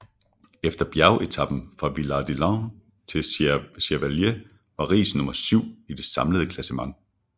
Efter bjergetapen fra Villard De Lans til Serre Chevalier var Riis nummer syv i det samlede klassement